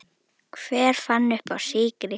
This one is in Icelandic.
Hver fann uppá sykri?